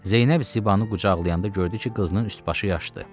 Zeynəb Zibanı qucaqlayanda gördü ki, qızının üst-başı yaşdı.